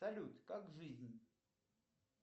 салют как жизнь